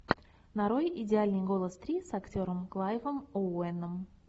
нарой идеальный голос три с актером клайвом оуэном